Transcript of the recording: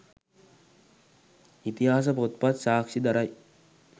ඉතිහාස පොත්පත් සාක්ෂි දරයි.